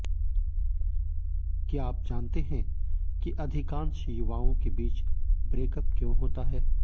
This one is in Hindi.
क्या आप जानते हैं कि अधिकांश युवाओं के बीच ब्रेकअप क्यों होता है